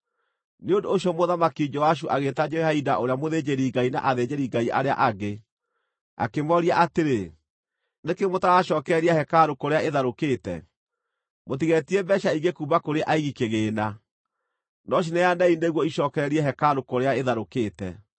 Nĩ ũndũ ũcio Mũthamaki Joashu agĩĩta Jehoiada ũrĩa mũthĩnjĩri-Ngai na athĩnjĩri-Ngai arĩa angĩ, akĩmooria atĩrĩ, “Nĩ kĩĩ mũtaracookereria hekarũ kũrĩa ĩtharũkĩte? Mũtigeetie mbeeca ingĩ kuuma kũrĩ aigi kĩgĩĩna, no cineanei nĩguo icookererie hekarũ kũrĩa ĩtharũkĩte.”